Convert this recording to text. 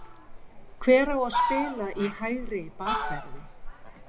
Hver á að spila í hægri bakverði?